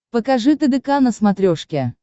покажи тдк на смотрешке